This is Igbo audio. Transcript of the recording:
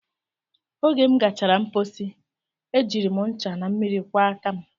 Oge m gachara mpochi, e jiri m ncha na mmiri kwọọ aka m